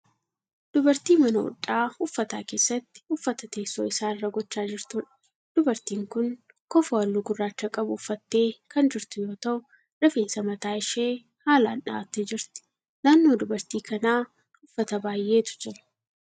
Dubartii mana hodhaa uffataa keessatti uffata teessoo isaa irra godhaa jirtuudha. Dubartiin kun kofoo halluu gurraacha qabu uffattee kan jirtu yoo ta'u rifeensa mataa ishee haalaan dha'attee jirti. Naannoo dubartii kanaa uffata baay'etu jira.